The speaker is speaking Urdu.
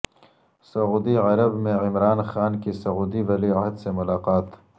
سعودی عرب میں عمران خان کی سعودی ولی عہد سے ملاقات